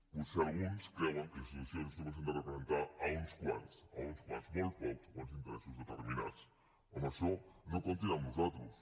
potser alguns creuen que les institucions només han de representar uns quants uns quants molt pocs o uns interessos determinats en això no comptin amb nosaltres